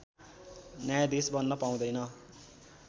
न्यायाधीश बन्न पाउँदैन